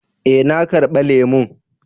Eh, na karba lemun.